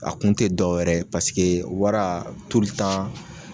A kun tɛ dɔwɛrɛ ye pasike wara